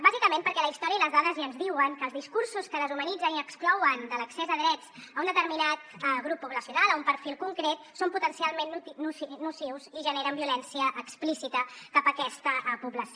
bàsicament perquè la història i les dades ja ens diuen que els discursos que deshumanitzen i exclouen de l’accés a drets un determinat grup poblacional o un perfil concret són potencialment nocius i generen violència explícita cap aquesta població